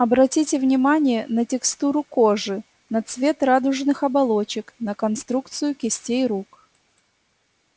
обратите внимание на текстуру кожи на цвет радужных оболочек на конструкцию кистей рук